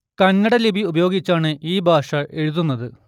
കന്നട ലിപി ഉപയോഗിച്ചാണ് ഈ ഭാഷ എഴുതുന്നത്